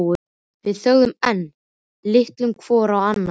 Við þögðum enn, litum hvort á annað.